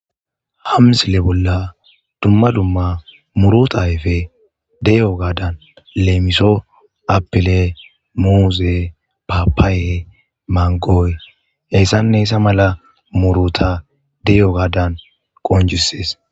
Ha msile bolla dumma dumma muruta ayfe deyo gadan leemiso apile muuse, papaaye, mangooy heyssanne heyssa mala muruta deyo gadan qonccissees.